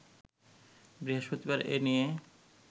বৃহস্পতিবার এ নিয়ে